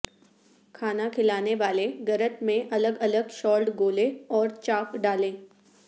کھانا کھلانے والے گرت میں الگ الگ شالڈ گولے اور چاک ڈالیں